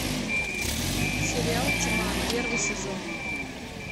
сериал тьма первый сезон